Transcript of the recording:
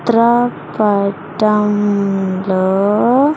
చిత్ర పటం లో.